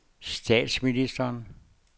statsministeren